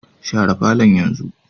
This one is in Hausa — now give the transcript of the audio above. Share falo yanzu